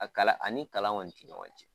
A ani kalan kɔni ti ɲɔgɔn cɛn.